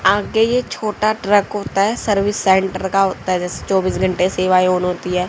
आगे ये छोटा ट्रक होता है सर्विस सेंटर होता है जैसे चौबीस घंटे का सेवाएं ऑन होती है।